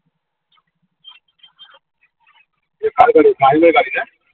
ওটা কার গাড়ি .